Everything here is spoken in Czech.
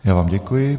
Já vám děkuji.